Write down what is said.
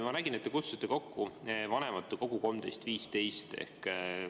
Ma nägin, et te kutsusite kokku vanematekogu 13.15-ks.